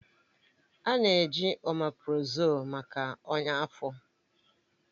A na-eji oméprazolú maka ọnya afọ